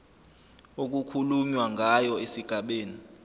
okukhulunywa ngayo esigabeni